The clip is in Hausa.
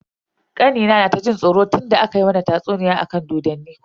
Kanina yana ta jin tsoro tunda aka mana tatsuniya akan dodonni.